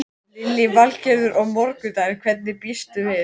Lillý Valgerður: Og morgundagurinn, hverju býstu við?